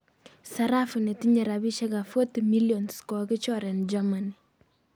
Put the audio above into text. sarafu netinye rapishek ap 40 millions kokokichor en Germany